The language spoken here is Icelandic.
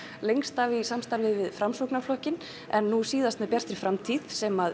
lengst af í samstarfi við Framsóknarflokkinn en nú síðast með Bjartri framtíð sem